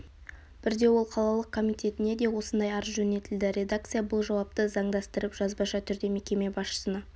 бірде ол қалалық комитетіне де осындай арыз жөнелтілді редакция бұл жауапты заңдастырып жазбаша түрде мекеме басшысына